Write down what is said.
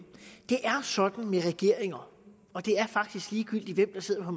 sådan med regeringer og det er faktisk ligegyldigt hvem der sidder på